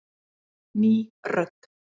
Ný rödd